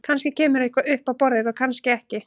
Kannski kemur eitthvað upp á borðið og kannski ekki.